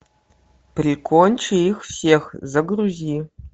прикончи их всех загрузи